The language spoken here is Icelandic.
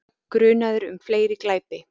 Grunaður um fleiri glæpi